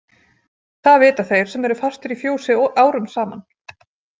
Það vita þeir sem eru fastir í fjósi árum saman.